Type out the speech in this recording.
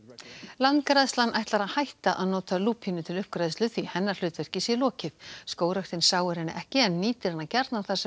landgræðslan ætlar að hætta að nota lúpínu til uppgræðslu því hennar hlutverki sé lokið skógræktin sáir henni ekki en nýtir hana gjarnan þar sem